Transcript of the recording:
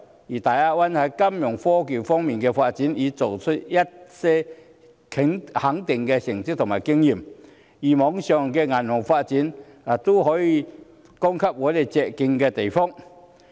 而大灣區在金融科技方面的發展，已取得一些值得肯定的成績和經驗，例如網上銀行的發展，便有可供我們借鏡的地方。